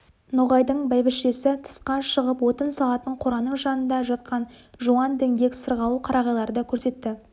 ноғайдың бәйбішесі тысқа шығып отын салатын қораның жанында жатқан жуан діңгек сырғауыл қарағайларды көрсетті